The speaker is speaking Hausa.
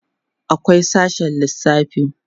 akwai sashe lissafi